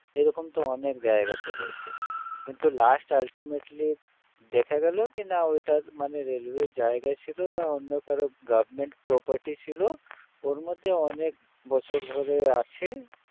এরকম তো অনেক জায়গাতে রয়েছে কিন্তু last ultimately দেখা গেল কি না ওইটা মানে railway এর জায়গা ছিল বা অন্য কারো government property ছিল ওর মধ্যে অনেক বছর ধরে আছে